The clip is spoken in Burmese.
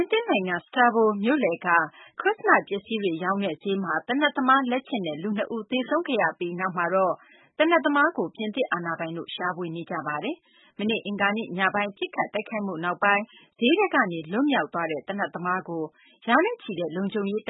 င်သစ် နိုင်ငံ Strasbourg မြို့လယ်က ခရစ်စမတ် ပစ္စည်းတွေ ရောင်းတဲ့ ဈေးမှာ သေနတ်သမား လက်ချက်နဲ့ လူ ၂ ဦး သေဆုံးခဲ့ပြီးနောက် သေနတ်သမားကို ပြင်သစ်အာဏာပိုင်တို့ လိုက်လံရှာဖွေနေပါတယ်။ မနေ့နှောင်းပိုင်းက ပစ်ခတ်မှု ဖြစ်ခဲ့ပြီးနောက် သေနတ်သမား ထွက်ပြေးလွတ်မြောက်သွားတဲ့အတွက် ဒီနေ့မှာတော့ ရာနဲ့ချီတဲ့ လုံခြုံရေးတ